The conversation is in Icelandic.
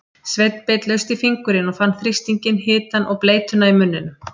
Sveinn beit laust í fingurinn og fann þrýstinginn, hitann og bleytuna í munninum.